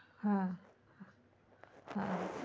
হম